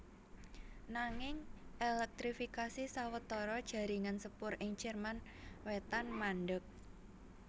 Nanging èlèktrifikasi sawetara jaringan sepur ing Jerman Wétan mandheg